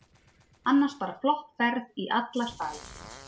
Annars bara flott ferð í alla staði.